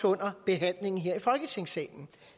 under behandlingen her i folketingssalen